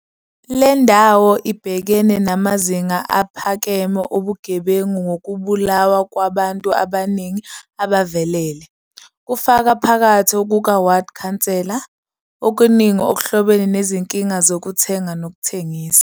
Le ndawo ibhekene namazinga aphakeme obugebengu ngokubulawa kwabantu abaningi abavelele, kufaka phakathi okuka-ward councillor, okuningi okuhlobene nezinkinga zokuthenga nokuthengisa.